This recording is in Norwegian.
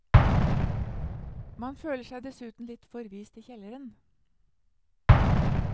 Man føler seg dessuten litt forvist i kjelleren.